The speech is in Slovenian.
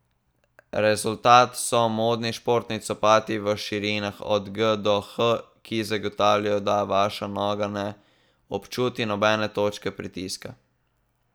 Rezultat so modni športni copati v širinah od G do H, ki zagotavljajo, da vaša noga ne občuti nobene točke pritiska.